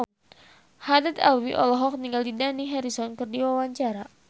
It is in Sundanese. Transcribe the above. Haddad Alwi olohok ningali Dani Harrison keur diwawancara